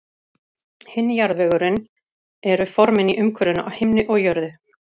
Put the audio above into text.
Hinn jarðvegurinn eru formin í umhverfinu á himni og jörðu.